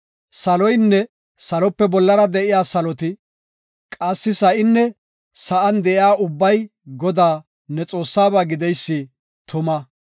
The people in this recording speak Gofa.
Saloynne salope bollara de7iya saloti, qassi sa7inne sa7an de7iya ubbay Godaa, ne Xoossaaba gideysi tuma.